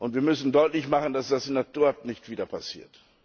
Wir müssen deutlich machen, dass das nicht wieder passiert.